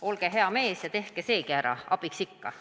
Olge hea mees ja tehke seegi ära – abiks ikka!